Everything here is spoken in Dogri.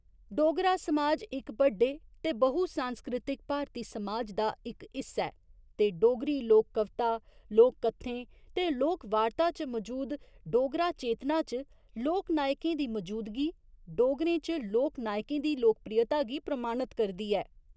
डोगरा समाज इक बड्डे ते बहुसांस्कृतिक भारती समाज दा इक हिस्सा ऐ, ते डोगरी लोक कविता, लोक कत्थें ते लोक वार्ता च मजूद डोगरा चेतना च लोकनायकें दी मजूदगी डोगरें च लोकनायकें दी लोकप्रियता गी प्रमाणत करदी ऐ।